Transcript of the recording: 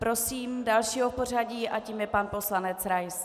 Prosím dalšího v pořadí a tím je pan poslanec Rais.